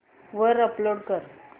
वर अपलोड कर